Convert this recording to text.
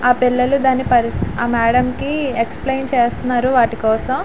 ఆ పిల్లలు దాని పరిస్ ఆ మేడమ్ కి ఎక్స్ప్లేన్ చేస్తున్నారు వాటి కోసం.